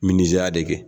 Min nizari de kɛ